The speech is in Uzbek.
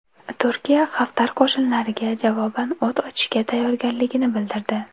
Turkiya Xaftar qo‘shinlariga javoban o‘t ochishga tayyorligini bildirdi.